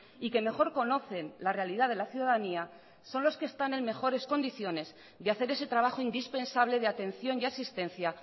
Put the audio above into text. y que mejor conocen la realidad de la ciudadanía son los que están en mejores condiciones de hacer ese trabajo indispensable de atención y asistencia